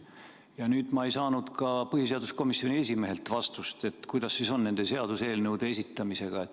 Ja nüüd ma ei saanud ka põhiseaduskomisjoni esimehelt vastust, et kuidas siis on nende seaduseelnõude esitamisega.